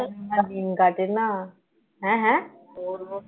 দিন কাটে না হ্যাঁ হ্যাঁ কি করবো